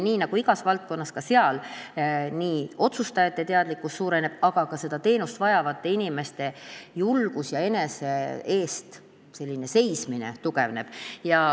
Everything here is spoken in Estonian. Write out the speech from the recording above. Nii nagu igas valdkonnas, ka seal otsustajate teadlikkus suureneb, aga ka seda teenust vajavate inimeste julgus ja enese eest seismine tugevneb.